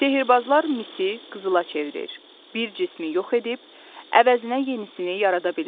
Sehirbazlar misi qızıla çevirir, bir cismi yox edib əvəzinə yenisini yarada bilirlər.